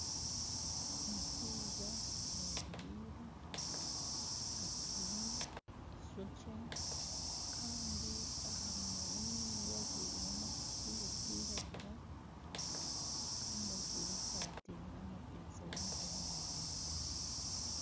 Omushaija ayemereire atsibire eishokye kandi aha munwa n'enyindo ajwaireho masiki erikwiragura kandi ajwaire esaati eine amapesha y'emikono miraingwa.